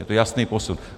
Je to jasný posun.